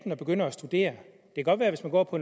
og begynder at studere hvis man går på